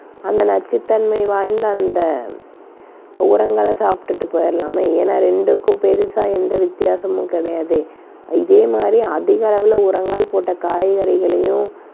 அந்த நச்சுத்தன்மை வாய்ந்த அந்த உரங்களைச் சாப்பிட்டுட்டு போயிடலாமே ஏன்னா ரெண்டுக்கும் பெருசா எந்த வித்தியாசமும் கிடையாதே. இதே மாதிரி அதிக அளவில உரங்கள் போட்ட காய்கறிகளையும்,